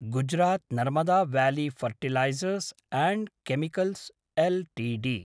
Gujarat Narmada valley fertilizers and chemicals Ltd